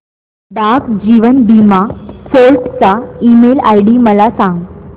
डाक जीवन बीमा फोर्ट चा ईमेल आयडी मला सांग